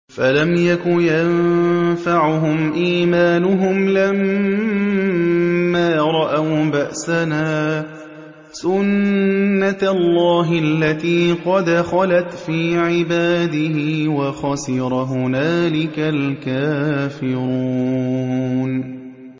فَلَمْ يَكُ يَنفَعُهُمْ إِيمَانُهُمْ لَمَّا رَأَوْا بَأْسَنَا ۖ سُنَّتَ اللَّهِ الَّتِي قَدْ خَلَتْ فِي عِبَادِهِ ۖ وَخَسِرَ هُنَالِكَ الْكَافِرُونَ